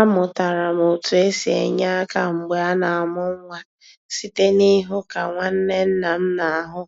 Amụtara m otú e si enye aka mgbe a na-amụ nwa site n'ịhụ ka nwanne nna m na-ahụ